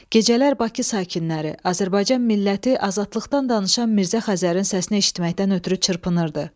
Gecələr Bakı sakinləri, Azərbaycan milləti azadlıqdan danışan Mirzə Xəzərin səsini eşitməkdən ötrü çırpınırdı.